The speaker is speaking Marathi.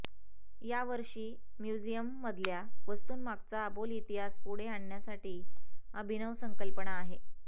यावर्षी म्युझियममधल्या वस्तूंमागचा अबोल इतिहास पुढे आणण्याची अभिनव संकल्पना आहे